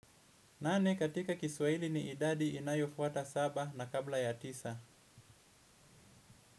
Nane katika kiswahili ni idadi inayofwata saba na kabla ya tisa.